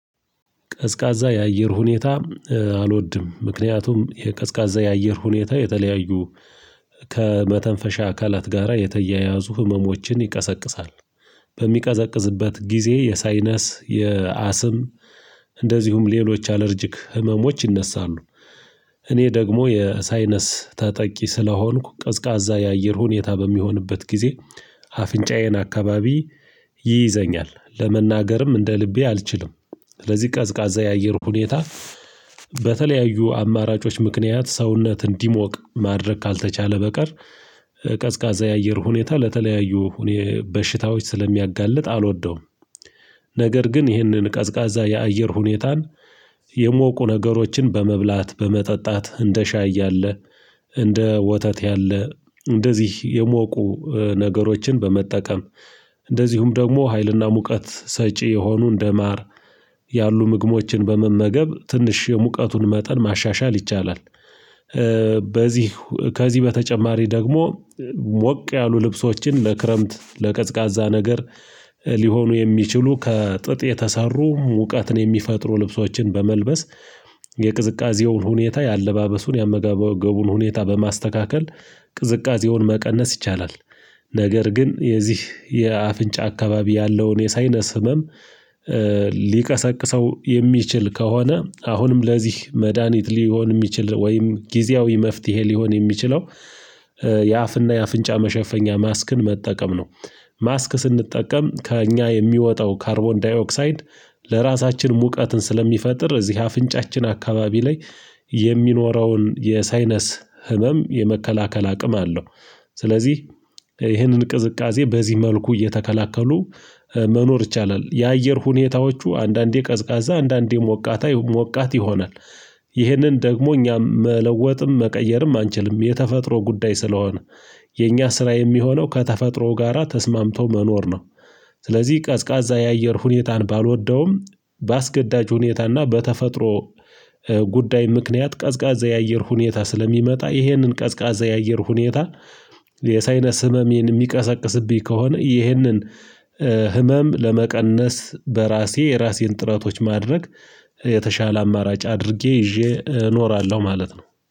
ቀዝቃዛ የአየር ሁኔታ አልወድም ምክንያቱም የቀዝቃዛ የአየር ሁኔታ የተለያዩ ከመተንፈሻ አካላት ጋራ የተያያዙ ህመሞችን ይቀሰቅሳል። በሚቀዘቅዝበት ጊዜ የሳይነስ የአስም እንደዚሁም ሌሎች አለርጅክ ህመሞች ይነሳሉ። እኔ ደግሞ የሳይነስ ተጠቂ ስለሆንኩ ቀዝቃዛ የአየር ሁኔታ በሚሆንበት ጊዜ አፍንጫዬን አካባቢ ይይዘኛል ለመናገርም እንደ ልቤ አልችልም። ስለዚህ ቀዝቃዛ የአየር ሁኔታ በተለያዩ አማራጮች ምክንያት ሰውነት እንዲሞቅ ማድረግ ካልተቻለ በቀር ቀዝቃዛ የአየር ሁኔታ ለተለያዩ በሽታዎች ስለሚያጋልጥ አልወደውም። ነገር ግን ይህንን ቀዝቃዛ የአየር ሁኔታን የሞቁ ነገሮችን በመብላት በመጠጣት እንደ ሻይ ያለ እንደ ወተት ያለ እንደዚህ የሞቁ ነገሮችን በመጠቀም እንደዚሁም ደግሞ ሀይልና ሙቀት ሰጪ የሆኑ እንደማር ያሉ ምግቦችን በመመገብ ትንሽ የሙቀቱን መጠን ማሻሻል ይቻላል። ከዚህ በተጨማሪ ደግሞ ሞቅ ያሉ ልብሶችን ለክረምት ለቀዝቃዛ ነገር ሊሆኑ የሚችሉ ከጥጥ የተሰሩ ሙቀትን የሚፈጥሩ ልብሶቻችን በመልበስ የቅዝቃዜውን ሁኔታ የአለባበሱን የአመጋገቡን ሁኔታ በማስተካከል ቅዝቃዜውን መቀነስ ይቻላል። ነገር ግን የዚህ የአፍንጫ አካባቢ ያለውን የሳይነስ ህመም ሊቀሰቅሰው የሚችል ከሆነ አሁንም ለዚህ መድሃኒት ሊሆን የሚችል ወይም ጊዜያዊ መፍትሄ ሊሆን የሚችለው የአፍና የአፍንጫ መሸፈኛ ማስክን መጠቀም ነው። ማስክ ስንጠቀም ከእኛ የሚወጣው ካርቦን ዳዮክሳይድ ለራሳችን ሙቀትን ስለሚፈጥር እዚህ አፍንጫችን አካባቢ ላይ የሚኖረውን የሳይነስ ህመም የመከላከል አቅም አለው። ስለዚህ ይህንን ቅዝቃዜ በዚህ መልኩ እየተከላከሉ መኖር ይቻላል። የአየር ሁኔታዎቹ አንዳንዴ ቀዝቃዛ አንዳንዴ ሞቃት ይሆናል። ይህንን ደግሞ እኛም መለወጥም መቀየርም አንችልም የተፈጥሮ ጉዳይ ስለሆነ የኛ ስራ የሚሆነው ከተፈጥሮ ጋራ ተስማምቶ መኖር ነው። ስለዚህ ቀዝቃዛ የአየር ሁኔታን ባልወደውም በአስገዳጅ ሁኔታና በተፈጥሮ ጉዳይ ምክንያት ቀዝቃዛ የአየር ሁኔታ ስለሚመጣ ይህንን ቀዝቃዛ የአየር ሁኔታ የሳይነስ ህመሜን የሚቀሰቅስብኝ ከሆነ ይህንን ህመም ለመቀነስ በራሴ የራሴን ጥረቶች ማድረግ የተሻለ አማራጭ አድርጌ ይዤ እኖራለሁ ማለት ነው